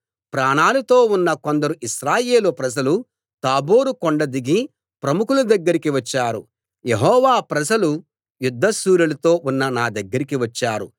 ప్రాణాలతో ఉన్న కొందరు ఇశ్రాయేలు ప్రజలు తాబోరు కొండ దిగి ప్రముఖుల దగ్గరికి వచ్చారు యెహోవా ప్రజలు యుద్ధ శూరులతో ఉన్న నా దగ్గరికి వచ్చారు